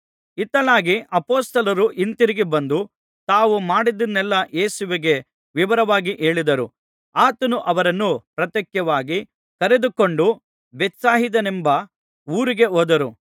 ಇತ್ತಲಾಗಿ ಅಪೊಸ್ತಲರು ಹಿಂತಿರುಗಿ ಬಂದು ತಾವು ಮಾಡಿದ್ದನ್ನೆಲ್ಲಾ ಯೇಸುವಿಗೆ ವಿವರವಾಗಿ ಹೇಳಿದರು ಆತನು ಅವರನ್ನು ಪ್ರತ್ಯೇಕವಾಗಿ ಕರೆದುಕೊಂಡು ಬೇತ್ಸಾಯಿದವೆಂಬ ಊರಿಗೆ ಹೋದರು